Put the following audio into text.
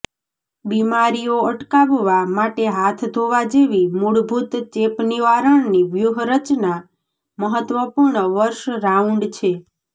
બીમારીઓ અટકાવવા માટે હાથ ધોવા જેવી મૂળભૂત ચેપ નિવારણની વ્યૂહરચના મહત્વપૂર્ણ વર્ષ રાઉન્ડ છે